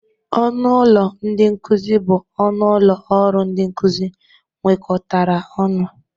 Ọnụ ụlọ ndị nkụzị bụ ọnụ ụlọ ọrụ ndị nkụzị nwekọtara ọnụ.